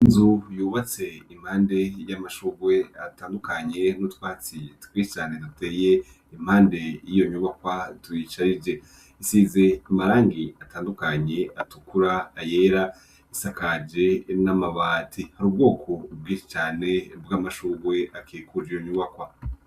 Inzu yubatse impande y'amashurwe atandukanye, n' utwatsi twinshi cane duteye impande y'iyo nyubakwa tuyisharije. Isize amarangi atandukanye atukura, ayera; isakaje n'amabati. Hari ubwoko bwinshi cane bw'amashurwe akikuje iyo nyubakwa.